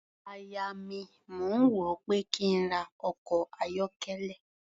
Aya mi, mò ń rò ó pé kí n ra ọkọ̀ ayọ́kẹ́lẹ́.